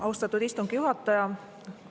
Austatud istungi juhataja!